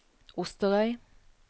Osterøy